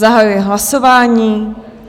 Zahajuji hlasování.